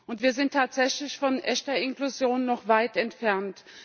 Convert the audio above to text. Und wir sind tatsächlich von echter Inklusion noch weit entfernt.